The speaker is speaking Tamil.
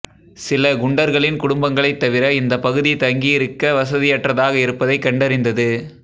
சில குண்டர்களின் குடும்பங்களைத் தவிர இந்த பகுதி தங்கியிருக்க வசதியற்றதாக இருப்பதைக் கண்டறிந்தது